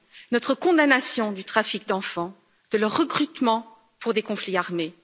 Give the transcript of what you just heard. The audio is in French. notre condamnation du trafic d'enfants, de leur recrutement pour des conflits armés